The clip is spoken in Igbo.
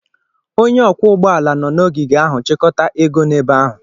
Onye ọkwọ ụgbọala nọ n'ogige ahụ chịkọta ego n'ebe ahụ.